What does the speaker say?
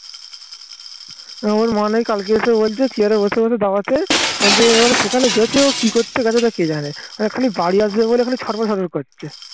আমার মনে নেই কালকে এসে বলছে chair এ বসে বসে দাওয়াতে. বলছে এবার সেখানে গেছে ও কি করছে গেছে তো কে জানে. এ খালি বাড়ি আসবে বলে এখানে ছটফট ছটফট করছে